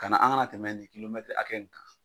Ani an kana tɛmɛ ni kilo mɛtiri hakɛ nin kan